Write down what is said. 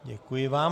Děkuji vám.